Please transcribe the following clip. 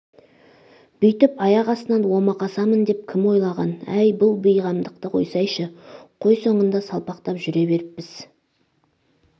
бүйтп аяқ астынан омақасамын деп кім ойлаған әй бұл бейғамдықты қойсайшы қой соңында салпақтап жүре беріппіз